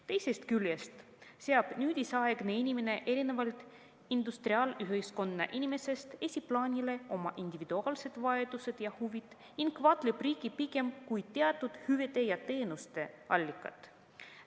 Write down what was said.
Teisest küljest seab nüüdisaegne inimene erinevalt industriaalühiskonna inimesest esiplaanile oma individuaalsed vajadused ja huvid ning vaatleb riiki pigem kui teatud hüvede ja teenuste allikat.